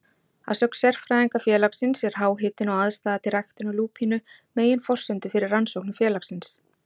Að sögn sérfræðinga félagsins er háhitinn og aðstaða til ræktunar lúpínu meginforsendur fyrir rannsóknum félagsins.